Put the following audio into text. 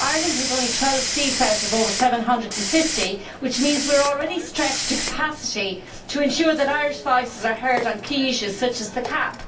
Ireland has only 12 seats out of over 750, which means we are already stretched to capacity to ensure that Irish voices are heard on key issues such as the CAP.